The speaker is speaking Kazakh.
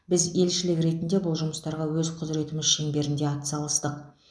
біз елшілік ретінде бұл жұмыстарға өз құзыретіміз шеңберінде атсалыстық